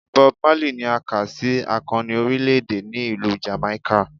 Bob Marley ni a ka si akọni orilẹ-ede ni Ilu Jamaica.